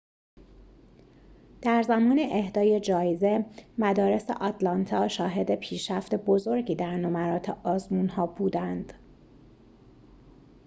در زمان اهدای جایزه مدارس آتلانتا شاهد پیشرفت بزرگی در نمرات آزمون‌ها بودند